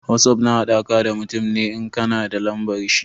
Wosof na haɗa ka da mutum ne in ka na da lambar shi.